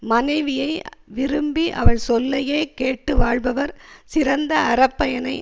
மனைவியை விரும்பி அவள் சொல்லையே கேட்டு வாழ்பவர் சிறந்த அறப்பயனை